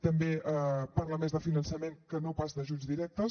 també parla més de finançament que no pas d’ajuts directes